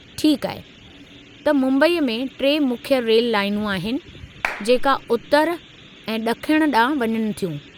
ठीकु आहे, त मुंबई में टे मुख्य रेल लाइनूं आहिनि जेका उत्तर ऐं ड॒खिण ॾांहुं वञनि थियूं।